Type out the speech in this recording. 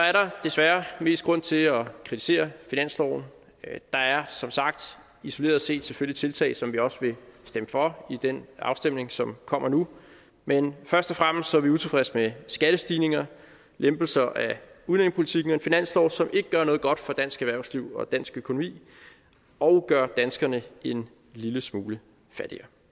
er der desværre mest grund til at kritisere finansloven der er som sagt isoleret set selvfølgelig tiltag som vi også vil stemme for i den afstemning som kommer nu men først og fremmest er vi utilfredse med skattestigninger lempelser af udlændingepolitikken og en finanslov som ikke gør noget godt for dansk erhvervsliv og dansk økonomi og gør danskerne en lille smule fattigere